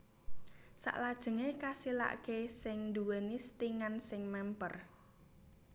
saklajengé kasilaké sing dhuwèni stingan sing mèmper